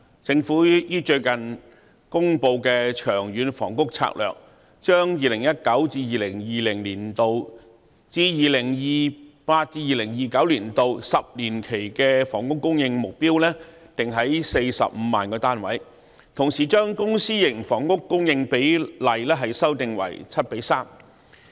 政府最近公布的《長遠房屋策略》，將 2019-2020 年度至 2028-2029 年度10年期的房屋供應目標定於45萬個單位，同時將公私營房屋供應比例修訂為 7：3。